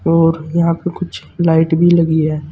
और यहां पे कुछ लाइट भी लगी है।